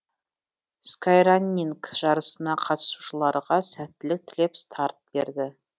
скайраннинг жарысына қатысушыларға сәттілік тілеп старт берді